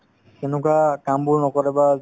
এনেকুৱা কামবোৰ নকৰে বা